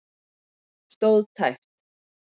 Stóð tæpt